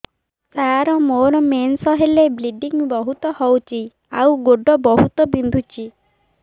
ସାର ମୋର ମେନ୍ସେସ ହେଲେ ବ୍ଲିଡ଼ିଙ୍ଗ ବହୁତ ହଉଚି ଆଉ ଗୋଡ ବହୁତ ବିନ୍ଧୁଚି